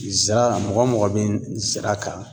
Zira, mɔgɔ mɔgɔ bɛ zira kan